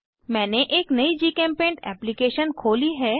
मैंने एक नयी जीचेम्पेंट एप्लीकेशन खोली है